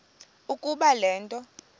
ukuba le nto